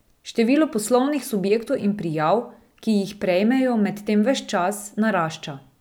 Število poslovnih subjektov in prijav, ki jih prejmejo, medtem ves čas narašča.